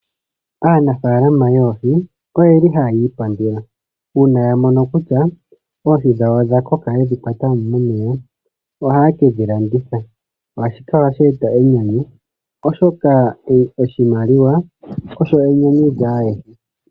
Aanafalama yoohi oyeli hayi ipandula una ya mono kutya oohi dhawo odha koka yedhi kwata mo momeya, ohaa kedhi landitha. Ohashi kala sheta enyanyu oshoka oshimaliwa osho enyanyu lyaayehe.